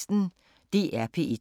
DR P1